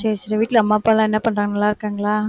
சரி சரி வீட்ல அம்மா அப்பாலாம் என்ன பண்றாங்க நல்லாருக்காங்களா